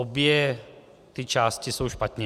Obě ty části jsou špatně.